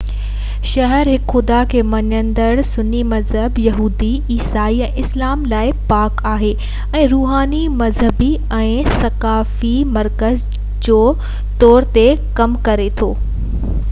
شهر هڪ خدا کي مڃيندڙ ٽنهي مذهب يهودي عيسائي ۽ اسلام لاءِ پاڪ آهي ۽ روحاني مذهبي ۽ ثقافتي مرڪز جو طور تي ڪم ڪري ٿو